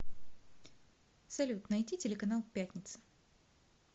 салют найти телеканал пятница